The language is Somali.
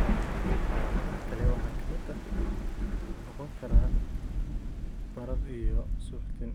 Calaamadaha kale waxaa ka mid noqon kara barar iyo suuxdin.